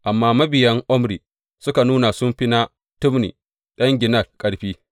Amma mabiyan Omri suka nuna sun fi na Tibni ɗan Ginat ƙarfi.